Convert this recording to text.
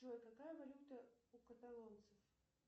джой какая валюта у каталонцев